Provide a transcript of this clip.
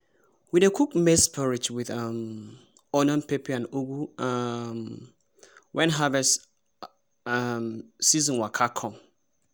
we dey cook maize porridge with um onion pepper and ugwu um when harvest um season waka come.